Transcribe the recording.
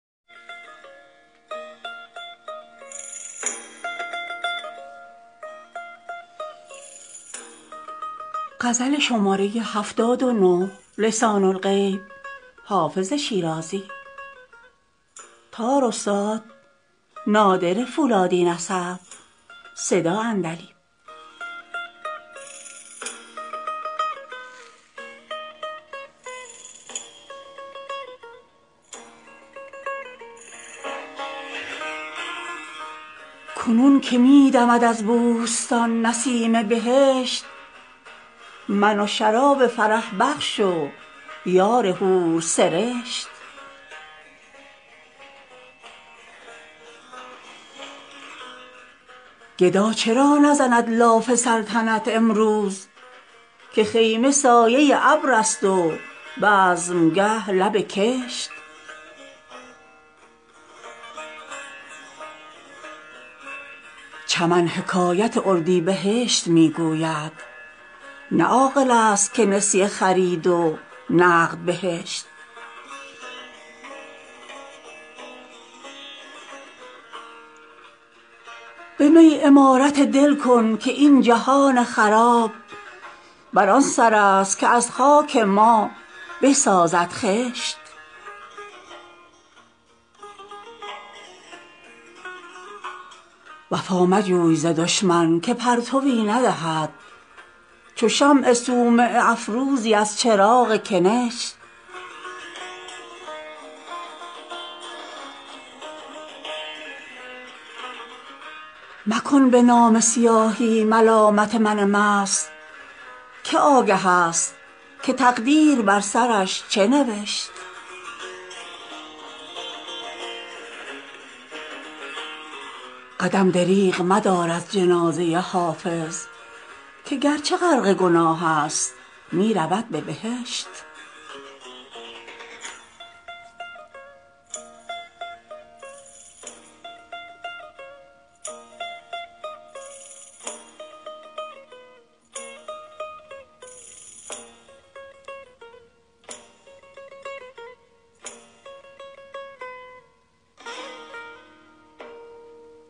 کنون که می دمد از بوستان نسیم بهشت من و شراب فرح بخش و یار حورسرشت گدا چرا نزند لاف سلطنت امروز که خیمه سایه ابر است و بزمگه لب کشت چمن حکایت اردیبهشت می گوید نه عاقل است که نسیه خرید و نقد بهشت به می عمارت دل کن که این جهان خراب بر آن سر است که از خاک ما بسازد خشت وفا مجوی ز دشمن که پرتوی ندهد چو شمع صومعه افروزی از چراغ کنشت مکن به نامه سیاهی ملامت من مست که آگه است که تقدیر بر سرش چه نوشت قدم دریغ مدار از جنازه حافظ که گرچه غرق گناه است می رود به بهشت